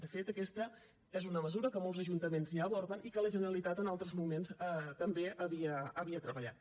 de fet aquesta és una mesura que molts ajuntaments ja aborden i que la generalitat en altres moments també havia treballat